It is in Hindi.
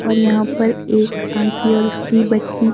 और यहां पर एक आंटी और उसकी बच्ची--